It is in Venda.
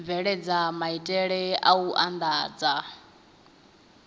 bveledza maitele a u andadza